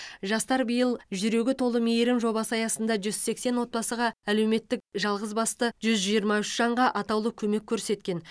жастар биыл жүрегі толы мейірім жобасы аясында жүз сексен отбасыға әлеуметтік жалғызбасты жүз жиырма үш жанға атаулы көмек көрсеткен